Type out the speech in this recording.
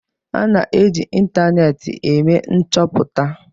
A na-eji ịntanetị eme nchoputa